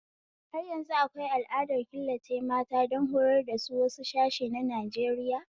Har yanzu akwai al'adar killace mata don horar dasu a wasu sashe na Najeriya